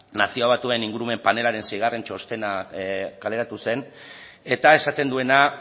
nazio bazuen ingurumen panelaren seigarren txostena kaleratu zen eta esaten duena